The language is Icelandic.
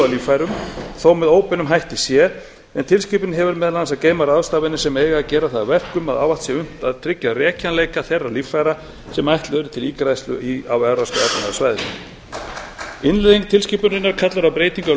líffærum þó með óbeinum hætti sé en tilskipunin hefur meðal annars að geyma ráðstafanir sem eiga að gera það að verkum að ávallt sé unnt að tryggja rekjanleika þeirra líffæra sem ætluð eru til ígræðslu á evrópska efnahagssvæðinu innleiðing tilskipunarinnar á breytingu á